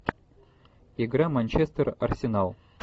игра манчестер арсенал